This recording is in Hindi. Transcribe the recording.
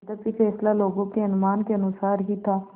यद्यपि फैसला लोगों के अनुमान के अनुसार ही था